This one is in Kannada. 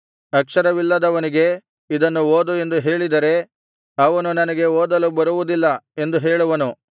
ಅಕ್ಷರವಿಲ್ಲದವನಿಗೆ ಇದನ್ನು ಓದು ಎಂದು ಹೇಳಿದರೆ ಅವನು ನನಗೆ ಓದಲು ಬರುವುದಿಲ್ಲ ಎಂದು ಹೇಳುವನು